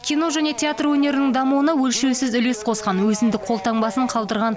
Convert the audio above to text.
кино және театр өнерінің дамуына өлшеусіз үлес қосқан өзіндік қолтаңбасын қалдырған